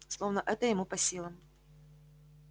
словно это ему по силам